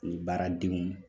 ani baaradenw